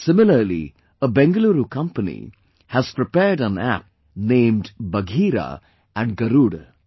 Similarly, a Bengaluru company has prepared an app named 'Bagheera' and 'Garuda'